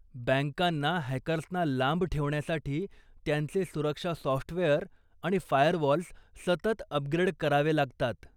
बँकांना हॅकर्सना लांब ठेवण्यासाठी त्यांचे सुरक्षा सॉफ्टवेअर आणि फायरवॉल्स सतत अपग्रेड करावे लागतात.